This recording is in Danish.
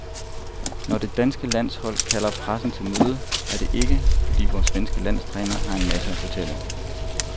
Når det danske landshold kalder pressen til møde, er det ikke, fordi vores svenske landstræner har en masse at fortælle.